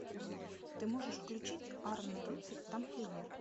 ты можешь включить арн рыцарь тамплиер